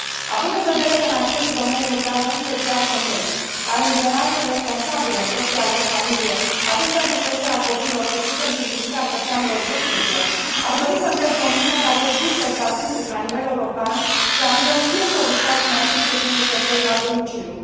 Având în vedere că în aceste domenii lucrează în special femei, care în general sunt responsabile în propria lor familie atât pentru creșterea copiilor, cât și pentru îngrijirea persoanelor vârstnice, aș dori să întreb Comisia dacă există statistici la nivel european și la nivelul fiecărui stat membru privind lucrătorii la domiciliu.